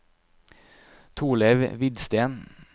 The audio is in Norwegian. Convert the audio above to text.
Torleiv Hvidsten